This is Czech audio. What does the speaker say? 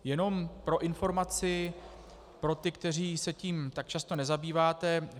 Jenom pro informaci pro ty, kteří se tím tak často nezabýváte.